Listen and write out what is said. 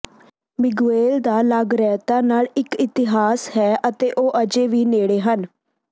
Miguel ਦਾ ਲਾਗਰਈਤਾ ਨਾਲ ਇੱਕ ਇਤਿਹਾਸ ਹੈ ਅਤੇ ਉਹ ਅਜੇ ਵੀ ਨੇੜੇ ਹਨ